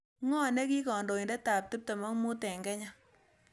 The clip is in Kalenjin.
Ng'oo negii kandoiindetap tiptem ak mut eng' kenya